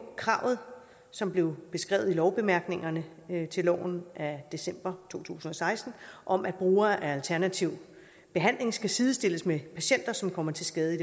kravet som blev beskrevet i lovbemærkningerne til loven af december to tusind og seksten om at brugere af alternativ behandling skal sidestilles med patienter som kommer til skade